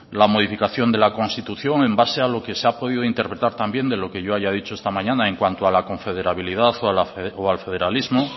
la modificación de la constitución en base a lo que se ha podido interpretar también de lo que yo haya dicho esta mañana en cuanto a la confederabilidad o al federalismo